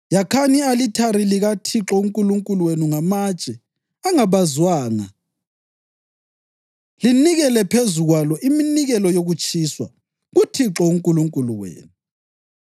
Yakhani i-alithari likaThixo uNkulunkulu wenu ngamatshe angabazwanga linikele phezu kwalo iminikelo yokutshiswa kuThixo uNkulunkulu wenu.